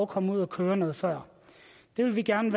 komme ud at køre noget før det vil vi gerne